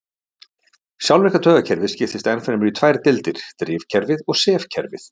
Sjálfvirka taugakerfið skiptist enn fremur í tvær deildir- drifkerfið og sefkerfið.